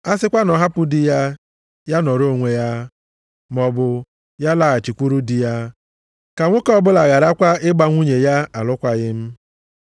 A sịkwa na ọ hapụ di ya, ya nọọrọ onwe ya, maọbụ ya laghachikwuru di ya. Ka nwoke ọbụla gharakwa ịgba nwunye ya alụkwaghị m.